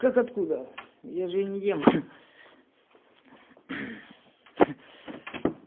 как откуда я же не ем ха-ха